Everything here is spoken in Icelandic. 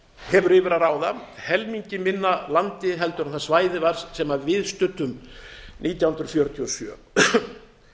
hefur yfir að ráða helmingi minna landi en það svæði var sem við studdum nítján hundruð fjörutíu og sjö